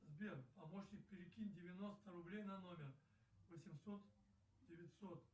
сбер помощник перекинь девяносто рублей на номер восемьсот девятьсот